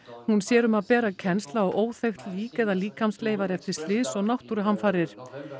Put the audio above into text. hún sér um að bera kennsl á óþekkt lík eða líkamsleifar eftir slys og náttúruhamfarir